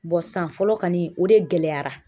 san fɔlɔ kani o de gɛlɛyara